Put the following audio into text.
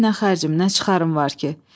Mənim nə xərcim, nə çıxarım var ki?